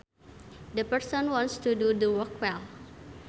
The person wants to do the work well